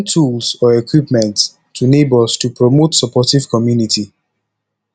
i dey lend tools or equipment to neighbors to promote supportive community